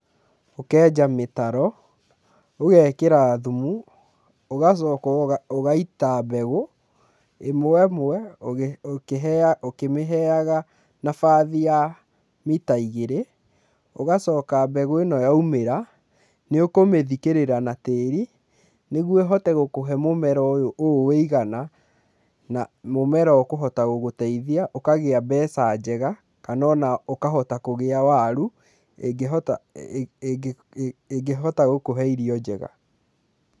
Ũkenja mĩtaro, ũgekĩra thumu, ũgacoka ũgaita mbegũ ĩmwe ĩmwe ũkĩmĩheaga na bathi ya mita igĩrĩ, ũgacoka mbegu ĩno yaumĩra, nĩ ũkũmĩthikĩrĩra na tirĩ, nĩguo ĩhote gũkũhe mũmera ũyũ ũũ wĩigana na mũmera kũhota gũgũteithia, ũkagĩa mbeca njega kana o na ũkahota kũgĩa waru ĩngĩhota ĩngĩhota gũkũhe irio njega.